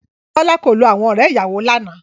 Bọ́lá kò lo àwọn ọ̀rẹ́-ìyàwọ lánàá.